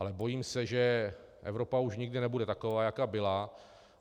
Ale bojím se, že Evropa už nikdy nebude taková, jaká byla.